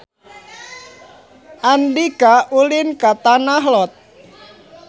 Andika ulin ka Tanah Lot